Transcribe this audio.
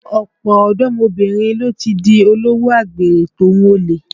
Ọ̀pọ̀ ọ̀dọ́mọbìnrin ló ti di olówò àgbèrè tòhun olè